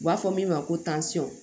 U b'a fɔ min ma ko